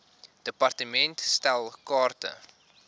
department stel kaarte